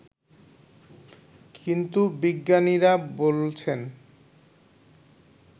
কিন্তু বিজ্ঞানীরা বলছেন